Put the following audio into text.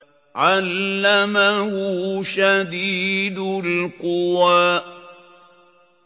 عَلَّمَهُ شَدِيدُ الْقُوَىٰ